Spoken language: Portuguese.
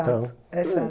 É chato, é chato.